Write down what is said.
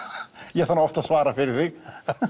ég þarf oft að svara fyrir þig